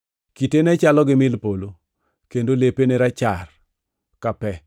Kite ne chalo gi mil polo, kendo lepe ne rachar ka pe.